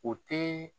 O tɛ